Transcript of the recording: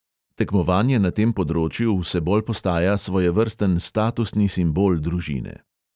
Tekmovanje na tem področju vse bolj postaja svojevrsten statusni simbol družine.